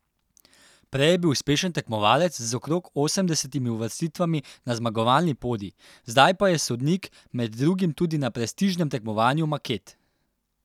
Prej je bil uspešen tekmovalec z okrog osemdesetimi uvrstitvami na zmagovalni podij, zdaj pa je sodnik, med drugim tudi na prestižnem tekmovanju maket.